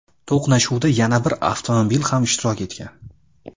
To‘qnashuvda yana bir avtomobil ham ishtirok etgan.